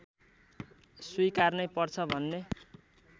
स्वीकार्नै पर्छ भन्ने